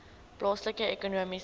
plaaslike ekonomiese